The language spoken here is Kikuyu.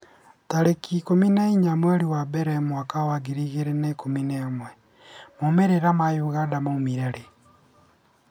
tarĩki ikũmi na inya mweri wa mbere mwaka wa ngiri igĩrĩ na ikũmi na ĩmwemaumĩrĩra ma ithurano cia Uganda maumire rĩ?